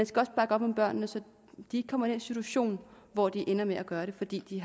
skal også bakke op om børnene så de ikke kommer i den situation hvor de ender med at gøre det fordi de